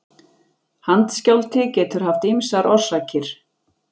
Handskjálfti getur haft ýmar orsakir.